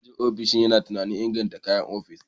Manajan ofishin yana tunanin inganta kayan ofis.